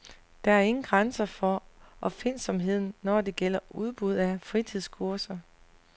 Der er ingen grænser for opfindsomheden, når det gælder udbud af fritidskurser.